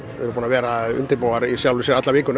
erum búin að vera að undirbúa alla vikuna